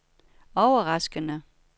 overraskende